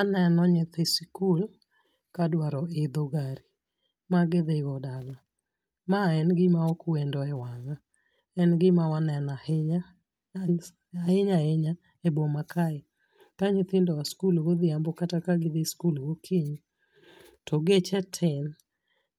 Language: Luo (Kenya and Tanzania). Aneno nyithi skul kadwaro idho gari ma gidhigo dala. Ma en gima ok wendo e wanga. En gima waneno ahinya ahinya ahinya ee boma kae. Ka nyithindo oa skul godhiambo kata ka gi dhi skul gokoinyi to geche tin.